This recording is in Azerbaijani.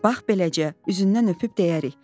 Bax beləcə, üzündən öpüb deyərik.